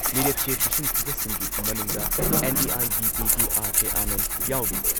ꯃꯤꯔꯦꯞꯆꯦ ꯄꯤꯁꯤꯟꯈꯤꯕꯁꯤꯡꯒꯤ ꯃꯅꯨꯡꯗ ꯑꯦꯟ.ꯏ.ꯑꯥꯏ.ꯗꯤ.ꯄꯤꯒꯤ ꯑꯥꯔ.ꯀꯦ ꯑꯥꯅꯟꯗ ꯌꯥꯎꯔꯤ ꯫